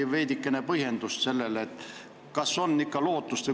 Ehk veidikene põhjendate seda?